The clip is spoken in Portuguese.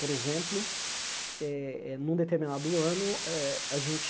Por exemplo, eh eh num determinado ano ah, a gente